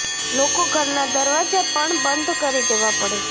લોકો ઘરના દરવાજા પણ બંધ કરી દેવા પડે છે